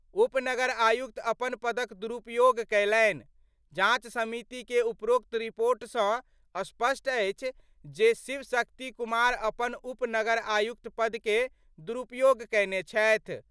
उप नगर आयुक्त अपन पदक दुरुपयोग कयलनि : जांच समिति के उपरोक्त रिपोर्ट सं स्पष्ट अछि जे शिव शक्ति कुमार अपन उप नगर आयुक्त पद के दुरुपयोग कयने छथि।